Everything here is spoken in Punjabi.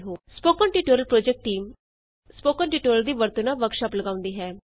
spoken tutorial project team spoken tutorial ਦੀ ਵਰਤੋਂ ਨਾਲ ਵਰਕਸ਼ਾਪ ਲਗਾਉਂਦੀ ਹੈ